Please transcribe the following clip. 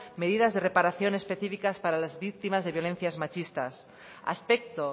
medidas de reparaciones específicas para las víctimas de violencias machistas aspecto